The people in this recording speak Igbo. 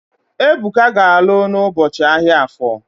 Ebuka ga-alụ n'ụbọchị ahia Afọ